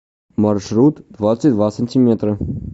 маршрут двадцать два сантиметра